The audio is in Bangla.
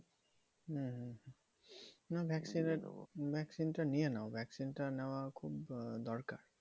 হম হম না vaccine এর vaccine টা নিয়ে নাও। vaccine টা নেওয়া খুব আহ দরকার।